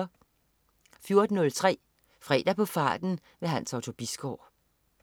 14.03 Fredag på farten. Hans Otto Bisgaard